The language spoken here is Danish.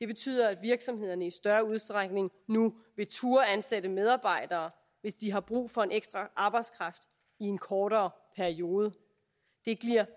betyder at virksomhederne i større udstrækning nu vil turde ansætte medarbejdere hvis de har brug for ekstra arbejdskraft i en kortere periode det giver